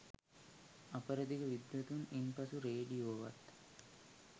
අපරදිග විද්වතුන් ඉන්පසු රේඩියෝවත්